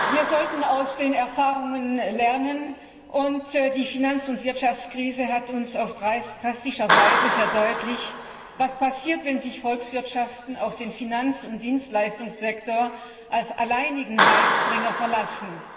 Wir sollten aus den Erfahrungen lernen, und die Finanz und Wirtschaftskrise hat uns auf drastische Weise verdeutlicht, was passiert, wenn sich Volkswirtschaften auf den Finanz und Dienstleistungssektor als alleinigen Heilsbringer verlassen.